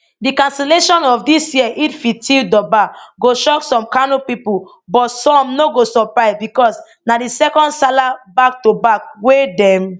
di cancellation of dis year eidelfitr durbar go shock some kano pipo but some no go surprise because na di second salah backtoback wey dem